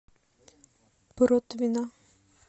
протвино